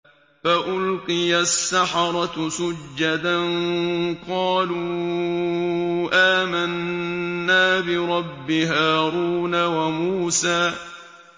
فَأُلْقِيَ السَّحَرَةُ سُجَّدًا قَالُوا آمَنَّا بِرَبِّ هَارُونَ وَمُوسَىٰ